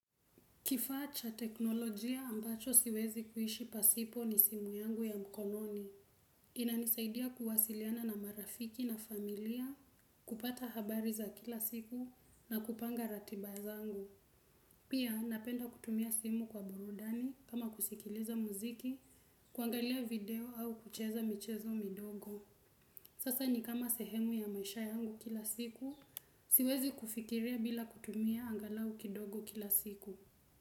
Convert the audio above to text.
Kifaa cha teknolojia ambacho siwezi kuishi pasipo ni simu yangu ya mkononi. Inanisaidia kuwasiliana na marafiki na familia kupata habari za kila siku na kupanga ratiba zangu. Pia napenda kutumia simu kwa burudani kama kusikiliza muziki, kuangalia video au kucheza michezo midogo. Sasa ni kama sehemu ya maisha yangu kila siku, siwezi kufikiria bila kutumia angalau kidogo kila siku.